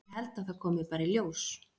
Ég held að það komi bara í ljós.